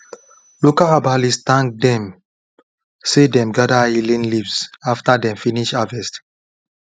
local herbalist thank dem say dem gather healing leaves after dem finish harvest